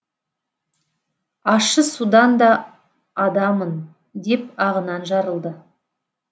ащы судан да адамын деп ағынан жарылды